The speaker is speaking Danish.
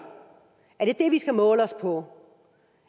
er det det vi skal måle os på